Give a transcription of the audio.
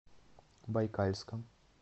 байкальском